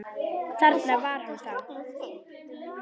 Þarna var hann þá!